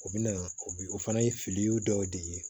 O bɛna o bi o fana ye fili dɔw de ye